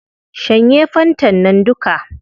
Shanye fantan nan duka